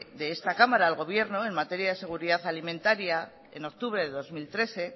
de esta cámara al gobierno en materia de seguridad alimentaria en octubre de dos mil trece